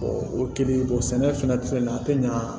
o kelen sɛnɛ fana filɛ nin ye a tɛ ɲa